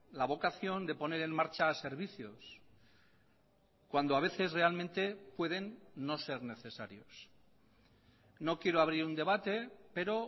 la vocación de poner en marcha servicios cuando a veces realmente pueden no ser necesarios no quiero abrir un debate pero